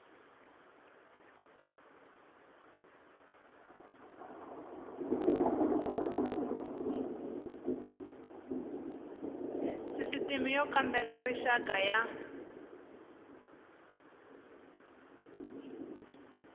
sisitimi y kambela rixaka ya